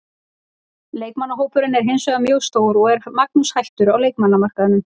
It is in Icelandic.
Leikmannahópurinn er hinsvegar mjög stór en er Magnús hættur á leikmannamarkaðnum?